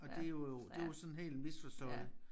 Og det jo jo det jo sådan helt misforstået